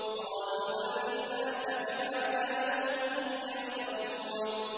قَالُوا بَلْ جِئْنَاكَ بِمَا كَانُوا فِيهِ يَمْتَرُونَ